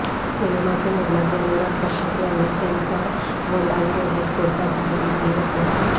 सिनेमाचे निर्माते अनुराग कश्यप यांनी सेन्सॉर बोर्डाविरोधात कोर्टात धाव घेतली होती